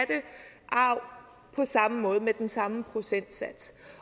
arv på samme måde med den samme procentsats